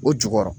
O jukɔrɔ